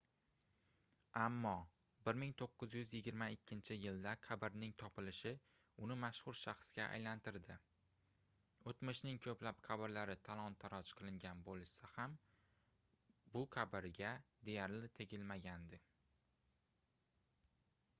ammo 1922-yilda qabrining topilishi uni mashhur shaxsga aylantirdi oʻtmishning koʻplab qabrlari talon-taroj qilingan boʻlsa ham bu qabrga deyarli tegilmagandi